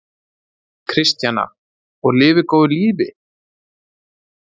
Kristjana: Og lifi góðu lífi?